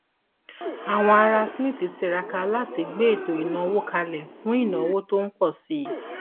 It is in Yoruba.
àwọn ará smith tiraka láti gbé ètò ìnáwó kalẹ fún ìnáwó tó ń pọ sí i